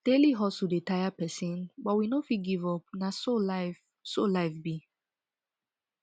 daily hustle dey tire pesin but we no fit give up na so life so life be